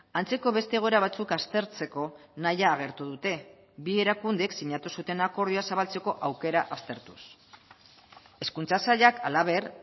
antzeko beste egoera batzuk aztertzeko nahia agertu dute bi erakundek sinatu zuten akordioa zabaltzeko aukera aztertuz hezkuntza sailak halaber